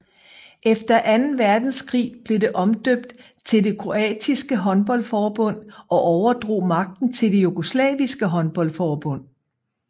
Efter anden verdenskrig blev det omdøbt til det kroatiske håndboldforbund og overdrog magten til det jugoslaviske håndboldforbund